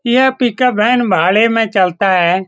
यह pickup van भाड़े में चलता है।